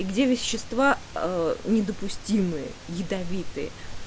где вещества а недопустимые ядовитые